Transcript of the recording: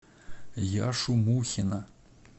яшу мухина